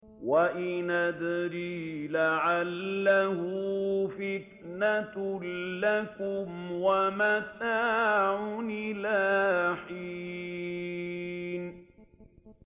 وَإِنْ أَدْرِي لَعَلَّهُ فِتْنَةٌ لَّكُمْ وَمَتَاعٌ إِلَىٰ حِينٍ